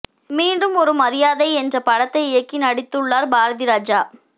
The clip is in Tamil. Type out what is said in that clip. மீண்டும் ஒரு மரியாதை என்ற படத்தை இயக்கி நடித்துள்ளார் பாரதிராஜா